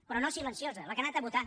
però no silenciosa la que ha anat a votar